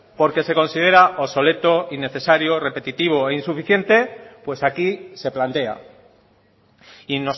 porque se considera obsoleto innecesario repetitivo e insuficiente pues aquí se plantea y